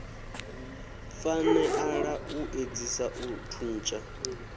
faneala u edzisa u thuntsha